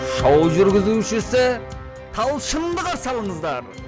шоу жүргізушісі талшынды қарсы алыңыздар